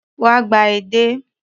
Wá gba edé.